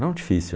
Não difícil.